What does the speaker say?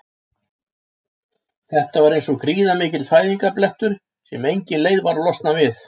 Þetta var eins og gríðarmikill fæðingarblettur sem enginn leið er að losna við.